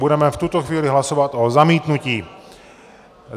Budeme v tuto chvíli hlasovat o zamítnutí.